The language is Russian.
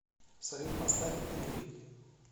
салют поставь ин грид